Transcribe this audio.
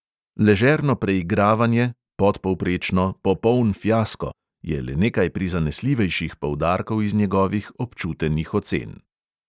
"Ležerno preigravanje", "podpovprečno", "popoln fiasko" je le nekaj prizanesljivejših poudarkov iz njegovih občutenih ocen.